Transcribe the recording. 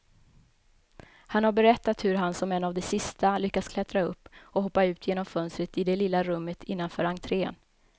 Han har berättat hur han som en av de sista lyckas klättra upp och hoppa ut genom fönstret i det lilla rummet innanför entrén.